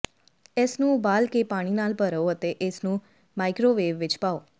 ਇਸਨੂੰ ਉਬਾਲ ਕੇ ਪਾਣੀ ਨਾਲ ਭਰੋ ਅਤੇ ਇਸਨੂੰ ਮਾਈਕ੍ਰੋਵੇਵ ਵਿੱਚ ਪਾਓ